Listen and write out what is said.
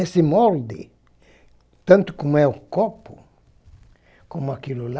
Esse molde, tanto como é o copo, como aquilo lá,